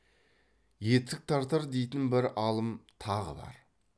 етік тартар дейтін бір алым тағы бар